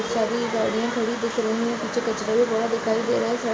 सारी गाड़ियां खड़ी दिख रही हैं। पीछे कचड़े भी पड़ा दिखाई दे रहा है। --